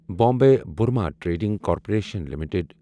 Bombay Burmah Trading Corporation limited